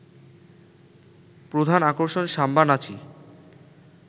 প্রধান আকর্ষণ সাম্বা নাচই